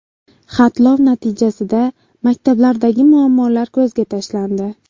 Xatlov natijasida maktablardagi muammolar ko‘zga tashlandi.